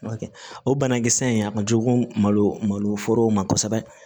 o banakisɛ in a ma jugu malo malo foro ma kosɛbɛ